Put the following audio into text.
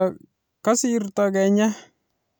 Kasirto kenyai